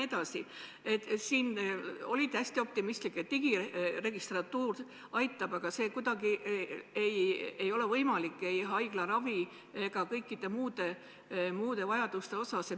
Te olite hästi optimistlik, et digiregistratuur aitab, aga haiglaravi puhul see pole kuidagi võimalik, samuti paljude muude vajaduste korral.